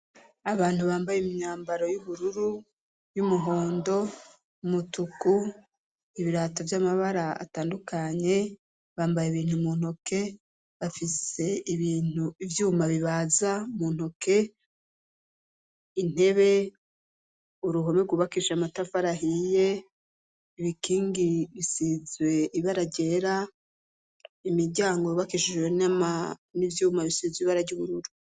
Abantu bambaye imyambaro y'ubururu y'umuhondo umutuku ibirato vy'amabara atandukanye bambaye ibintu muntoke bafise ibintu ivyuma bibaza muntoke intebe uruhome gubakisha amatafarahiye ibikingi bisizwe ibara ryera imiryango bbakishishjwe nama n'ivyuma bisizwe ibara ry'ubururu.